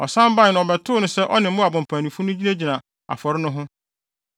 Ɔsan bae no ɔbɛtoo no sɛ ɔne Moab mpanyimfo no nyinaa gyinagyina afɔre no ho.